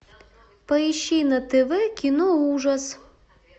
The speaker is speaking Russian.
поищи на тв кино ужас